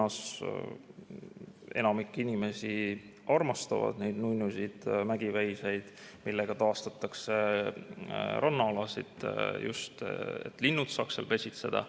Enamik inimesi armastab neid nunnusid mägiveiseid, kelle abil taastatakse rannaalasid ka selleks, et linnud saaks seal pesitseda.